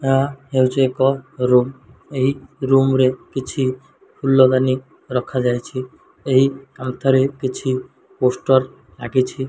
ଏହା ହେଉଚି ଏକ ରୁମ୍ ଏହି ରୁମ୍ ରେ କିଛି ଫୁଲଦାନି ରଖାଯାଇଛି ଏହି କାନ୍ଥ ରେ କିଛି ପୋଷ୍ଟର ଲାଗିଛି।